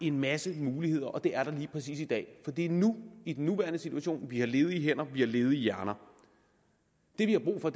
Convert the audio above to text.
en masse muligheder og det er der lige præcis i dag for det er nu det i den nuværende situation at vi har ledige hænder at vi har ledige hjerner det vi har brug for